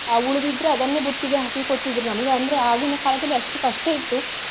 ಅಹ್ ಉಳಿದಿದ್ರೆ ಅದನ್ನೇ ಬುತ್ತಿಗೆ ಹಾಕಿ ಕೊಡುತಿದ್ರು ನಮ್ಗೆ ಅಂದ್ರೆ ಆಗಿನ ಕಾಲದಲ್ಲಿ ಅಷ್ಟು ಕಷ್ಟ ಇತ್ತು.